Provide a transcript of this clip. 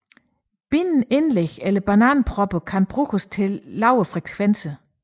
Bindende indlæg eller bananpropper kan bruges til lavere frekvenser